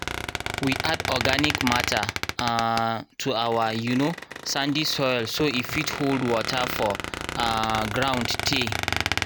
we add organic matter um to our um sandy soil so e fit hold water for um ground tey.